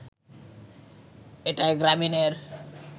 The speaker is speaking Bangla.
এটায় গ্রামীণের